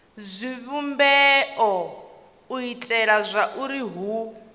zwivhumbeo u itela zwauri hu